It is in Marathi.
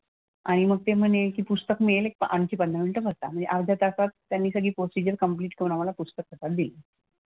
आणि मग ते म्हणे की पुस्तक मिळेल आणखी पंधरा मिनिटं बसा. मग अर्ध्या तासात त्यांनी प्रोसिजर कंप्लिट करून आम्हाला पुस्तक हातात दिलं.